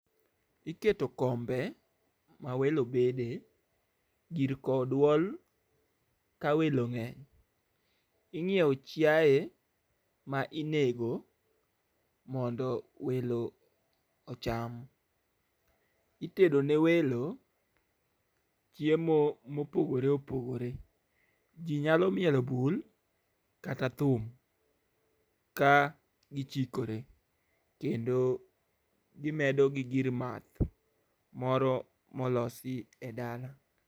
Iketo kombe ma welo bede, gir kowo duol kawelo ng'eny. Ing'ewo chiaye mainego mondo welo ocham, itedo ne welo, chiemo mopogore opogore. Ji nyalo mielo bul kata thum ka gichikore, kendo gimedo gi gir math moro molosi e dala.